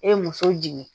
E ye muso jigin